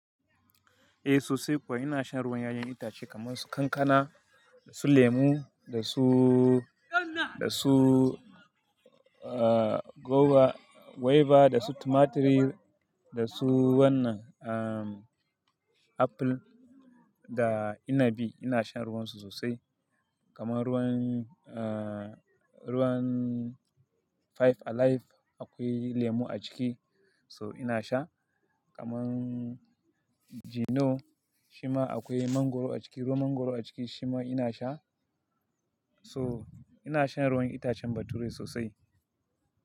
Eh sosai kuwa ina shan ruwan ƴaƴan itace kaman su kankana, da su lemu, da su, da su, ah, guava, guava, da su tumaturi, da su wannan, um, apple da inabi ina shan ruwan su sosai. Kaman ruwan, ah, ruwan Five Alive akwai lemu a ciki so ina sha. Kaman Gino shima akwai mangoro a ciki, ruwan mangoro a ciki shima ina sha. So ina shan ruwan itacen bature sosai.